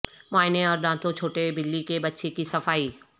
معائنے اور دانتوں چھوٹے بلی کے بچے کی صفائی